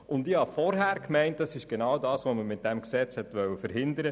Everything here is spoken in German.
Vorhin habe ich gemeint, man wolle genau das mit diesem Gesetz verhindern.